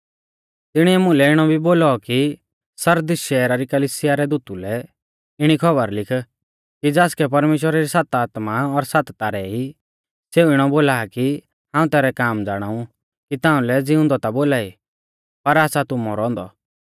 तिणीऐ मुलै इणौ भी बोलौ कि सरदीस शैहरा री कलिसिया रै दूता लै इणी खौबर लिख कि ज़ासकै परमेश्‍वरा री सात आत्मा और सात तारै ई सेऊ इणौ बोला आ कि हाऊं तैरै काम ज़ाणाऊ कि ताउंलै ज़िउंदौ ता बोलाई पर आसा तू मौरौ औन्दौ